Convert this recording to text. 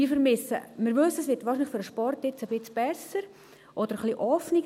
Wir wissen, es wird wahrscheinlich für den Sport jetzt ein wenig besser oder ein wenig offener.